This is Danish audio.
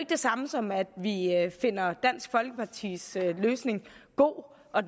det samme som at vi finder dansk folkepartis løsning god og